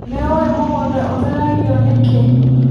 Nĩũĩ mũgũnda ũtheragio nĩkĩ.